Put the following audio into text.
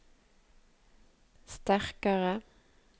sterkare